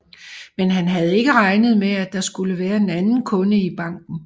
Men han havde ikke regnet med at der skulle være en anden kunde i banken